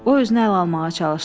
O özünü əl almağa çalışdı.